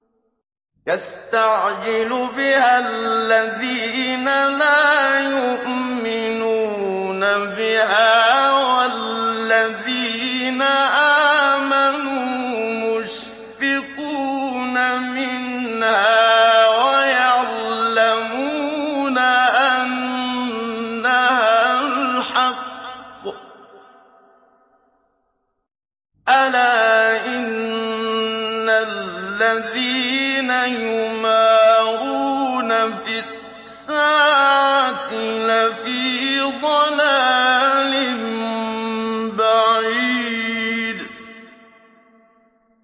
يَسْتَعْجِلُ بِهَا الَّذِينَ لَا يُؤْمِنُونَ بِهَا ۖ وَالَّذِينَ آمَنُوا مُشْفِقُونَ مِنْهَا وَيَعْلَمُونَ أَنَّهَا الْحَقُّ ۗ أَلَا إِنَّ الَّذِينَ يُمَارُونَ فِي السَّاعَةِ لَفِي ضَلَالٍ بَعِيدٍ